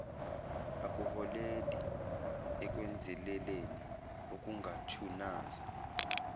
akuholeli ekwenzeleleni okungathunaza